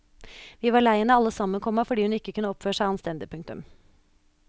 Vi var lei henne alle sammen, komma fordi hun ikke kunne oppføre seg anstendig. punktum